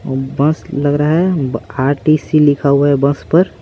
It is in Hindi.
और बस लग रहा है आरटीसी लिखा हुआ है बस पर।